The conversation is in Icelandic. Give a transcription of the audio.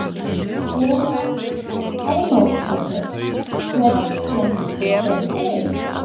Þóra Arnórsdóttir: Hvers lenskir eru þeir?